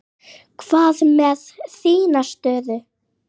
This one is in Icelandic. Hvað með þína stöðu?